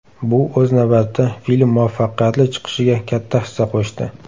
Bu, o‘z navbatida, film muvaffaqiyatli chiqishiga katta hissa qo‘shdi.